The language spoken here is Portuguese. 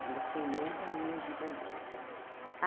Quando eu fiquei noiva, aí eu ergui bandeira.